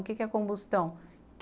O que é combustão?